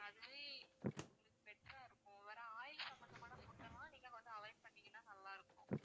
அதுவே உங்களுக்கு better ஆ இருக்கும் over ஆ oil சம்மந்தமான food எல்லாம் நீங்க வந்து avoid பண்ணிங்கன்னா நல்லா இருக்கும்